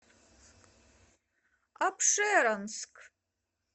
апшеронск